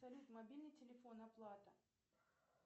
салют мобильный телефон оплата